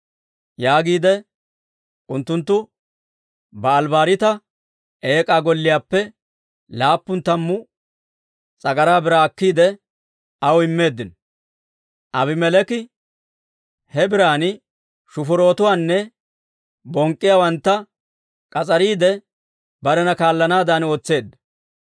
Yaagiidde unttunttu Ba'aali-Bariita eek'aa golliyaappe laappun tammu s'agaraa biraa akkiide, aw immeeddino. Aabimeleeki he biran shufurotuwaanne bonk'k'iyaawantta k'as'ariide, barena kaallanaadan ootseedda.